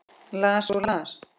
Las og las.